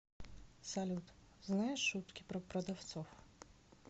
салют знаешь шутки про продавцов